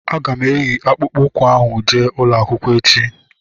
Aga m eyi akpụkpọ ụkwụ ahu jee ụlọakwụkwọ echi